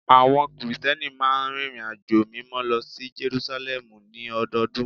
Àwọn Krìsìtẹ́nì máa ń rìnrìnàjò Mímọ́ lọ sí Jerúsálẹ́mù ní ọdọọdún